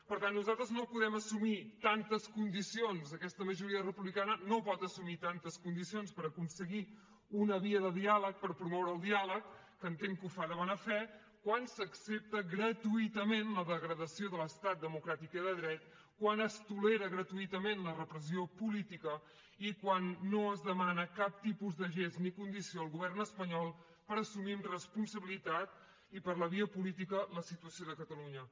per tant nosaltres no podem assumir tantes condicions aquesta majoria republicana no pot assumir tantes condicions per aconseguir una via de diàleg per promoure el diàleg que entenc que ho fa de bona fe quan s’accepta gratuïtament la degradació de l’estat democràtic i de dret quan es tolera gratuïtament la repressió política i quan no es demana cap tipus de gest ni condició al govern espanyol per assumir amb responsabilitat i per la via política la situació de catalunya